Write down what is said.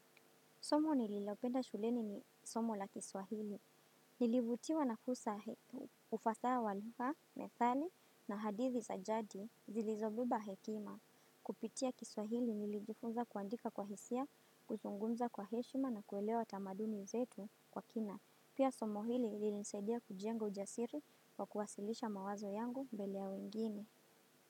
Somo nililopenda shuleni ni somo la kiswahili. Nilivutiwa na ufasaha wa lugha, methali na hadithi za jadi zilizobeba hekima. Kupitia kiswahili nilijifunza kuandika kwa hisia, kuzungunza kwa heshima na kuelewa tamaduni zetu kwa kina. Pia somo hili linilisadia kujenga ujasiri wa kuwasilisha mawazo yangu mbele ya wengine.